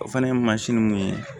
O fana ye mansin mun ye